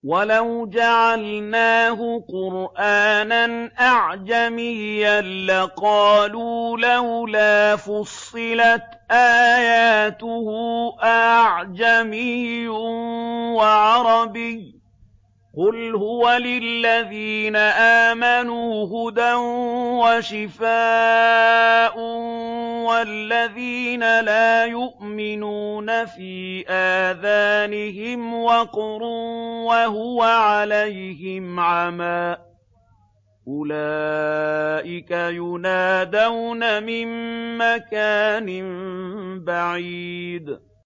وَلَوْ جَعَلْنَاهُ قُرْآنًا أَعْجَمِيًّا لَّقَالُوا لَوْلَا فُصِّلَتْ آيَاتُهُ ۖ أَأَعْجَمِيٌّ وَعَرَبِيٌّ ۗ قُلْ هُوَ لِلَّذِينَ آمَنُوا هُدًى وَشِفَاءٌ ۖ وَالَّذِينَ لَا يُؤْمِنُونَ فِي آذَانِهِمْ وَقْرٌ وَهُوَ عَلَيْهِمْ عَمًى ۚ أُولَٰئِكَ يُنَادَوْنَ مِن مَّكَانٍ بَعِيدٍ